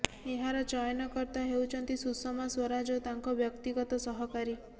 ଏହାର ଚୟନକର୍ତ୍ତା ହେଉଛନ୍ତି ସୁଷମା ସ୍ୱରାଜ ଓ ତାଙ୍କ ବ୍ୟକ୍ତିଗତ ସହକାରୀ